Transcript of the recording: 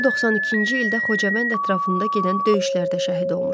O, 92-ci ildə Xocavənd ətrafında gedən döyüşlərdə şəhid olmuşdu.